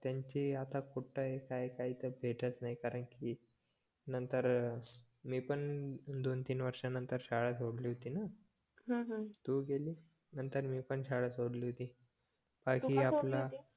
त्यांची आता कुठे काय काय भेटतच नाही कारण की नंतर मी पण दोन-तीन वर्षानंतर शाळा सोडली होती ना तू गेलीस नंतर मी पण शाळा सोडली तू का सोडली होती